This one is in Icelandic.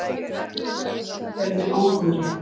Þurfa að sitja undir óhróðri